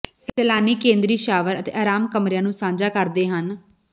ਸੈਲਾਨੀ ਕੇਂਦਰੀ ਸ਼ਾਵਰ ਅਤੇ ਆਰਾਮ ਕਮਰਿਆਂ ਨੂੰ ਸਾਂਝਾ ਕਰਦੇ ਹਨ